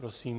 Prosím.